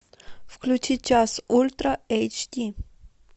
включи час ультра эйч ди